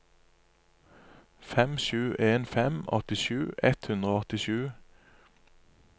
fem sju en fem åttisju ett hundre og åttisju